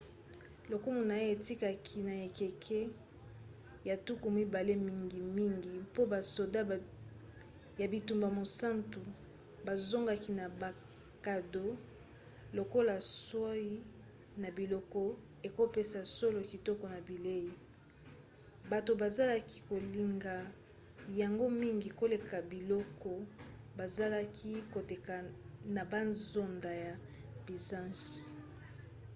lokumu na ye ekitaki na ekeke ya tuku mibale mingimingi po basoda ya bitumba mosantu bozongaki na bakado lokola soies na biloko ekopesaka solo kitoko na bilei; bato bazalaki kolinga yango mingi koleka biloko bazalaki koteka na bazando ya byzance